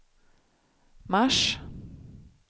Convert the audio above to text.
mars